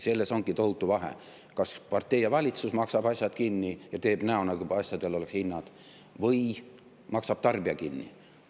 Selles ongi tohutu vahe, kas partei ja valitsus maksavad asjad kinni ja teevad näo, nagu asjadel oleks hinnad, või maksab tarbija kinni.